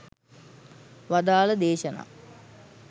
වදාළ දේශනා